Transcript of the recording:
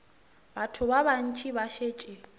batho ba bantši ba šetše